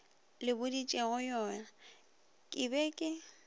le boditšegoyona ke be ke